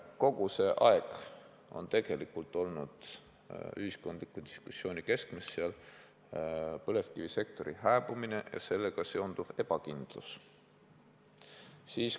Kogu see aeg on seal ühiskondliku diskussiooni keskmes olnud põlevkivisektori hääbumine ja sellega seonduv ebakindlus.